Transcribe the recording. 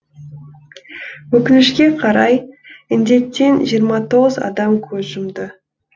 өкінішке қарай інденттен жиырма тоғыз адам көз жұмды